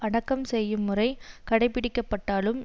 அடக்கம் செய்யும் முறை கடைபிடிக்கப்பட்டாலும்